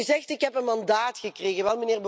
En u zegt Ik heb een mandaat gekregen.